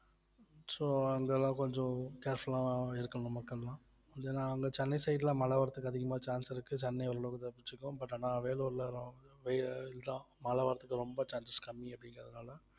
so அங்கெல்லாம் கொஞ்சம் careful ஆ இருக்கணும் மக்கள் எல்லாம் ஏன்னா அங்க சென்னை side ல மழ வர்றதுக்கு அதிகமா chance இருக்கு சென்னை தப்பிச்சுக்கும் but அனா வேலூர்லதான் வந்து மழை வர்றதுக்கு ரொம்ப chances கம்மி அப்படிங்கறதுனால